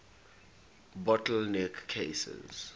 bottle neck cases